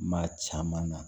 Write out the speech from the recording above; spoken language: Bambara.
Maa caman na